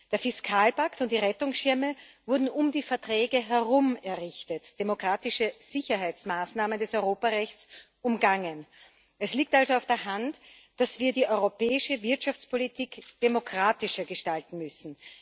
Der Fiskalpakt und die Rettungsschirme wurden um die Verträge herum errichtet, demokratische Sicherheitsmaßnahmen des Europarechts umgangen. Es liegt also auf der Hand, dass wir die europäische Wirtschaftspolitik demokratischer gestalten müssen.